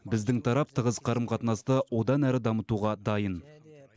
біздің тарап тығыз қарым қатынасты одан әрі дамытуға дайын